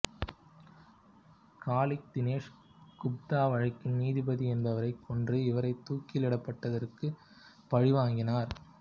காலிக் தினேஷ் குப்தா வழக்கின் நீதிபதி என்பவரை கொன்று இவரை தூக்கிலிடப்பட்டதற்கு பழிவாங்கினார்